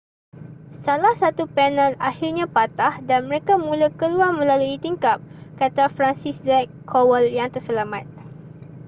salah satu panel akhirnya patah dan mereka mula keluar melalui tingkap kata franciszek kowal yang terselamat